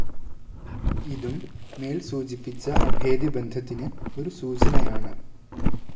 ഇതും മേൽ സൂചിപ്പിച്ച അഭേദ്യബന്ധത്തിന് ഒരു സൂചനയാണ്.